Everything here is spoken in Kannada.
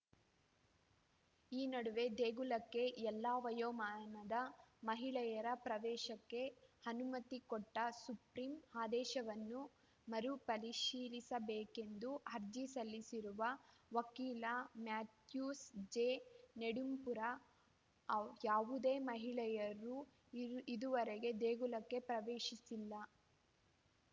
ಈ ನಡುವೆ ದೇಗುಲಕ್ಕೆ ಎಲ್ಲಾ ವಯೋಮಾನದ ಮಹಿಳೆಯರ ಪ್ರವೇಶಕ್ಕೆ ಅನುಮತಿ ಕೊಟ್ಟ ಸುಪ್ರಿಂ ಆದೇಶವನ್ನು ಮರುಪರಿಶೀಲಿಸಬೇಕೆಂದು ಅರ್ಜಿ ಸಲ್ಲಿಸಿರುವ ವಕೀಲ ಮ್ಯಾಥ್ಯೂಸ್‌ ಜೆ ನೆಡುಂಪುರ ಯಾವುದೇ ಮಹಿಳೆಯರೂ ಇದುವರೆಗೆ ದೇಗುಲ ಪ್ರವೇಶಿಸಿಲ್ಲ